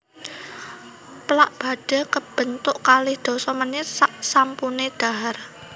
Plak badhe kebentuk kalih dasa menit saksampune dhahar